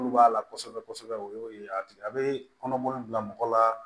Munnu b'a la kosɛbɛ kosɛbɛ o ye a tigi a bɛ kɔnɔboli bila mɔgɔ la